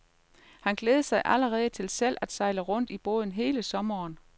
Han glæder sig allerede til selv at sejle rundt i båden hele sommeren.